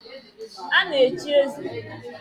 A na-echi eze.